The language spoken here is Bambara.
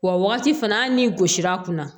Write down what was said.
Wa wagati fana hali ni gosira kunna